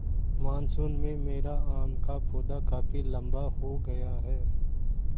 monsoon में मेरा आम का पौधा काफी लम्बा हो गया है